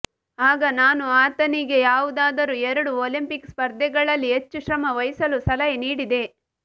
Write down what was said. ಆಗ ನಾನು ಆತನಿಗೆ ಯಾವುದಾದರೂ ಎರಡು ಒಲಿಂಪಿಕ್ ಸ್ಪರ್ಧೆಗಳಲ್ಲಿ ಹೆಚ್ಚು ಶ್ರಮ ವಹಿಸಲು ಸಲಹೆ ನೀಡಿದೆ